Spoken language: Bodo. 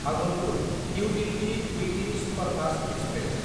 Bhagalpur New Delhi weekly superfast express